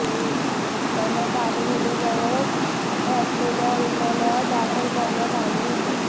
त्यांना तातडीने जवळच असलेल्या रुग्णालयात दाखल करण्यात आले होते